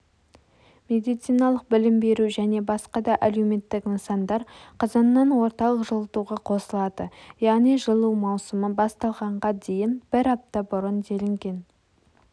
медициналық білім беру және басқа да әлеуметтік нысандар қазаннан орталық жылытуға қосылады яғни жылу маусымы басталғанға дейін бір апта бұрын делінген